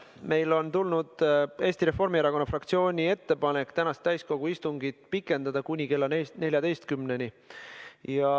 Meile on tulnud Eesti Reformierakonna fraktsiooni ettepanek tänast täiskogu istungit pikendada kuni kella 14-ni.